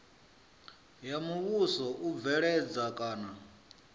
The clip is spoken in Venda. ya muvhuso u bveledza kana